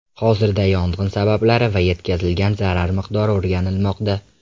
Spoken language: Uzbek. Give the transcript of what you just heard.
Hozirda yong‘in sabablari va yetkazilgan zarar miqdori o‘rganilmoqda.